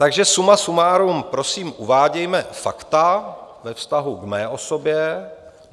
Takže suma sumárum, prosím, uvádějme fakta ve vztahu k mé osobě.